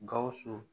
Gawusu